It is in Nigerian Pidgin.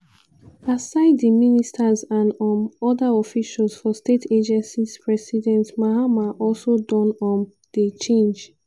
aside di ministers and um oda officials for state agencies president mahama also don um dey change